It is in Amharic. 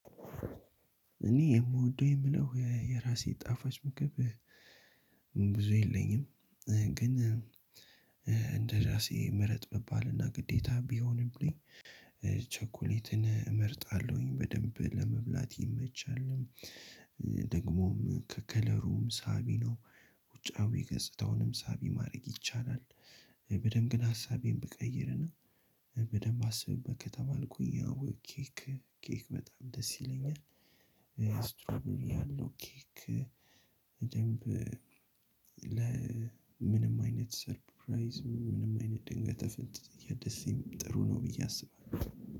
እኔ የምወደው የምለው የራሴ ጣፋጭ ምግብ ብዙ የለኝም። ግን እንደ ራሴ ምረጥ ብባልና ግዴታ ቢሆንብኝ ቸኮሌትን እመርጣለሁኝ በደንብ ለመብላት ይመቻልም። ደግሞም ከከለሩም ሳቢ ነው ውጫዊ ገጽታውንም ሳቢ ማድረግ ይቻላል። በደንብ ግን ሀሳቤን ብቀይርና በደንብ አስብበት ከተባልኩኝ ያው ኬክ ኬክ በጣም ደስ ይለኛል። እስትሮበሪ ያለው ኬክ። ደንብ ለምንም አይነት ሰርፕራይዝ ምንም አይነት ድንገቴ ፍንጠዝያ ደሴም ጥሩ ነው ብየ አስባለው።